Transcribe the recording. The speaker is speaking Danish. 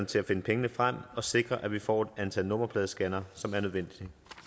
til at finde pengene frem og sikre at vi får det antal nummerpladescannere som er nødvendigt